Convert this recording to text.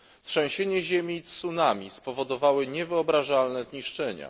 Trzęsienie ziemi i tsunami spowodowały niewyobrażalne zniszczenia.